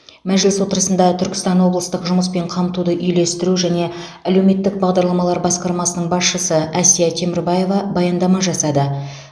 мәжіліс отырысында түркістан облыстық жұмыспен қамтуды үйлестіру және әлеуметтік бағдарламалар басқармасының басшысы әсия темірбаева баяндама жасады